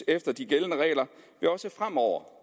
efter de gældende regler også fremover